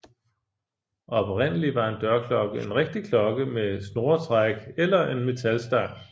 Oprindeligt var en dørklokke en rigtig klokke med snoretræk eller en metalstang